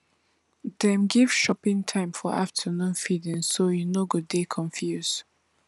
dey give chopping time for afternoon feedingso you no go dey confuse